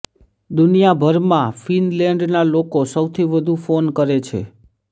દુનિયાભરમાં ફિનલેન્ડના લોકો સૌથી વધુ ફોન કરે છે